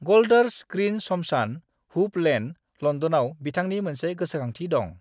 गोल्डर्स Green श्मशान, Hoop Lane, लन्दनाव बिथांनि मोनसे गोसोखांथि दं।